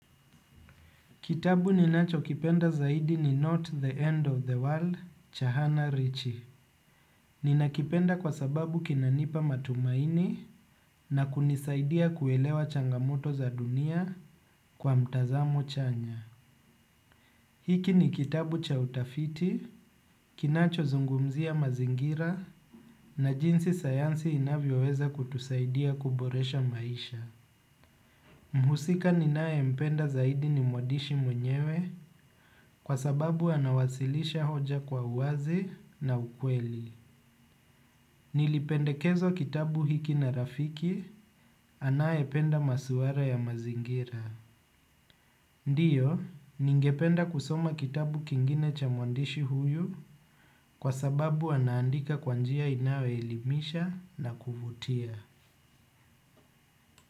Kitabu ninachokipenda zaidi ni Not the End of the World, Cha Hannah Richi. Ninakipenda kwa sababu kinanipa matumaini na kunisaidia kuelewa changamoto za dunia kwa mtazamo chanya. Hiki ni kitabu cha utafiti, kinachozungumzia mazingira na jinsi sayansi inavyoweza kutusaidia kuboresha maisha. Mhusika ninayempenda zaidi ni mwandishi mwenyewe kwa sababu anawasilisha hoja kwa uwazi na ukweli. Nilipendekezwa kitabu hiki na rafiki, anayependa maswala ya mazingira. Ndiyo, ningependa kusoma kitabu kingine cha mwandishi huyu kwa sababu anaandika kwa njia inayoelimisha na kuvutia.